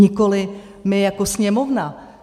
Nikoli my jako Sněmovna.